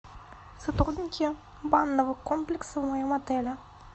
сотрудники банного комплекса в моем отеле